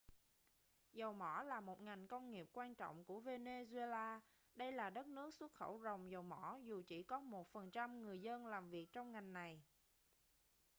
dầu mỏ là một ngành công nghiệp quan trọng của venezuela đây là đất nước xuất khẩu ròng dầu mỏ dù chỉ có 1% người dân làm việc trong ngành này